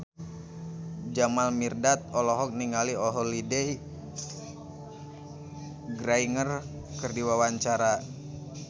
Jamal Mirdad olohok ningali Holliday Grainger keur diwawancara